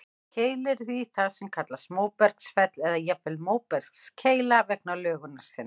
Keilir er því það sem kallast móbergsfell, eða jafnvel móbergskeila vegna lögunar sinnar.